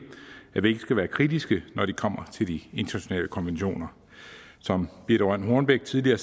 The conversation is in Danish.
at vi ikke skal være kritiske når det kommer til de internationale konventioner som birthe rønn hornbech tidligere